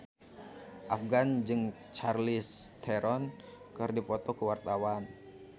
Afgan jeung Charlize Theron keur dipoto ku wartawan